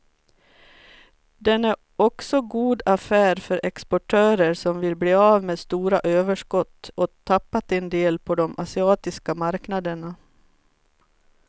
Den är också god affär för exportörer som vill bli av med stora överskott och tappat en del på de asiatiska marknaderna.